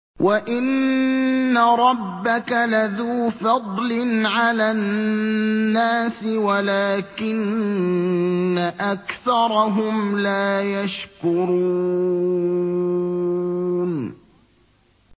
وَإِنَّ رَبَّكَ لَذُو فَضْلٍ عَلَى النَّاسِ وَلَٰكِنَّ أَكْثَرَهُمْ لَا يَشْكُرُونَ